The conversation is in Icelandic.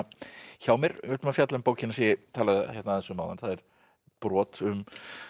hjá mér við ætlum að fjalla um bókina sem ég talaði um áðan það er brot um